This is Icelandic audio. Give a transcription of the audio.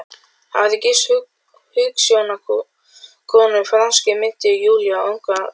Hafði gifst hugsjónakonu, franskri minnti Júlíu, á unga aldri.